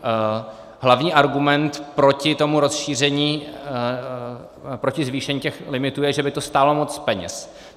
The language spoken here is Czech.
Hlavní argument proti tomu rozšíření, proti zvýšení těch limitů je, že by to stálo moc peněz.